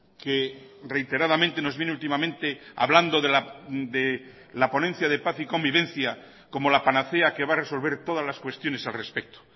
que reiteradamente nos viene últimamente hablando de la ponencia de paz y convivencia como la panacea que va a resolver todas las cuestiones al respecto